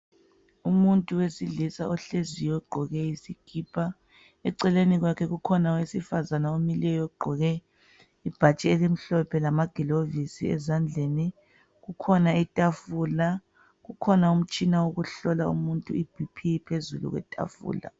Umuntu wesilisa ohleziyo ogqoke isikipa eceleni kwakhe kukhona owesifazane omileyo ogqoke ibhatshi elimhlophe lama gilovisi ezandleni kukhona itafula, kukhona umtshina wokuhlola umuntu iBP phezulu kwe tafula.